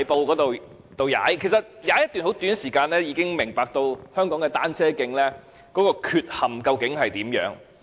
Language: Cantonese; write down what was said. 其實，我只踏了一段很短時間，已經明白香港的單車徑究竟有何缺陷。